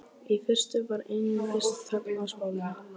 Í fyrstu var einungis þögn á spólunni.